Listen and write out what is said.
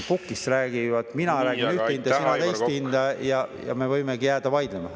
Pukist räägivad ,… teist hinda ja me võimegi jääda vaidlema.